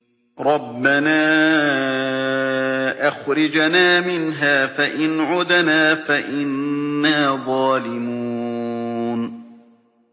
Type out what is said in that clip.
رَبَّنَا أَخْرِجْنَا مِنْهَا فَإِنْ عُدْنَا فَإِنَّا ظَالِمُونَ